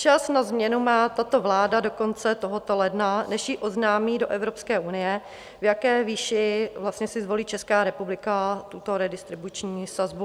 Čas na změnu má tato vláda do konce tohoto ledna, než jí oznámí do Evropské unie, v jaké výši vlastně si zvolí Česká republika tuto redistribuční sazbu.